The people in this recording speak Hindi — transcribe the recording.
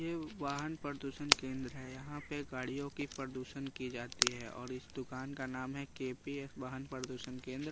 ये वाहन प्रदूषण केंद्र है यहां पे गाड़ियों की प्रदूषण की जाती है और इस दुकान का नाम है के_पी_एफ वाहन प्रदूषण केंद्र।